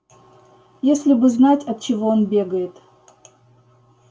если бы знать от чего он бегает